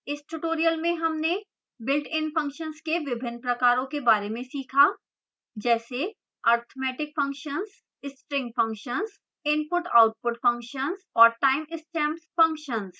इस tutorial में हमने builtin functions के विभिन्न प्रकारों के बारे में सीखा जैसे arithmetic functions string functions input/output functions और time stamps functions